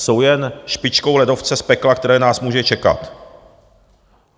Jsou jen špičkou ledovce z pekla, které nás může čekat.